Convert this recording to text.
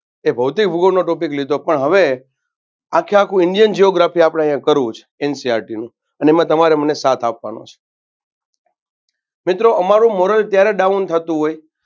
એ ભૌતિક ભૂગોળનો topic લીધો પણ હવે આખે આખુ indian geography આપણે અહિયાં કરવું છે NCERT નું અને એમાં તમારે મને સાથ આપવાનો છે. મિત્રો અમારુ moral ત્યાર down થાતું હોય